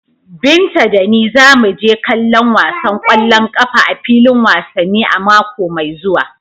Binta da ni za mu je kallon wasan kwallon kafa a filin wasanni a mako mai zuwa.